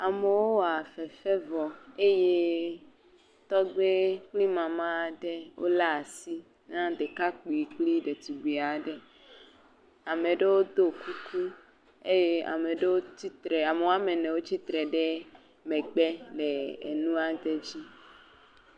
Amewo wa fefe vɔ eye tɔgbe kple mama aɖe wolé asi na ɖekakpui kple ɖetugbui aɖe, ame ɖewo ɖo kuku, ame ɖewo tsitre, ame woame ene wotsitre ɖe megbe le enua ɖe dzi.